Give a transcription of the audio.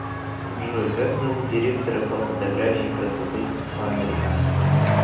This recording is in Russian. джой как зовут директора по фотографии красоты по американски